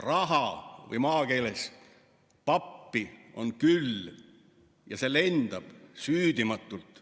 Raha või maakeeles pappi on küll, see lendab süüdimatult.